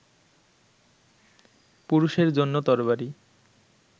পুরুষের জন্য তরবারি